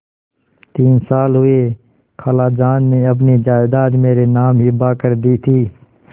तीन साल हुए खालाजान ने अपनी जायदाद मेरे नाम हिब्बा कर दी थी